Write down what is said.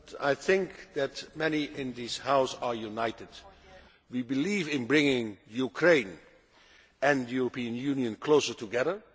Mr President, I think that many in this House are united. We believe in bringing Ukraine and the European Union closer together.